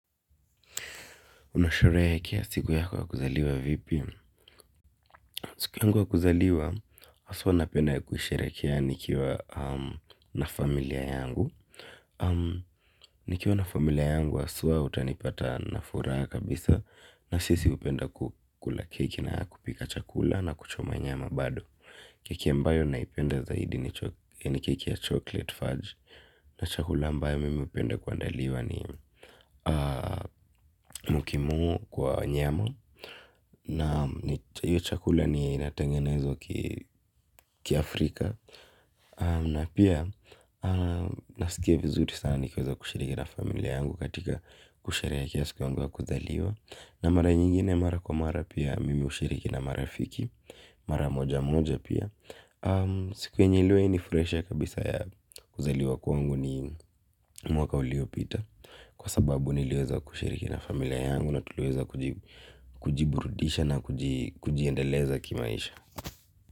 Unasherehekea siku yako ya kuzaliwa vipi. Siku yangu ya kuzaliwa, haswa napenda kusherehekea nikiwa na familia yangu. Nikiwa na familia yangu, haswa utanipata na furaha kabisa na sisi hupenda kukula keki na kupika chakula na kuchoma nyama bado. Keki ambayo naipenda zaidi ni keki ya chocolate fudge na chakula ambayo mimi hupenda kuandaliwa ni mokimo kwa nyama. Na hiyo chakula ni inatengenezo ki Afrika. Na pia nasikia vizuri sana nikiweza kushiriki na familia yangu katika kushiriki ya kiasiku ya kuzaliwa. Na mara nyingine mara kwa mara pia mimi ushiriki na mara fiki. Mara moja moja pia. Sikuwa njiluwe ni fresha kabisa ya kuzaliwa kwangu ni mwaka uliopita. Kwa sababu nilioza kushiriki na familia yangu na tuluweza kujiburudisha na kujiendeleza kimaisha.